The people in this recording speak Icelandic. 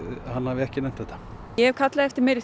hann hafi ekki nefnt þetta ég hef kallað eftir meiri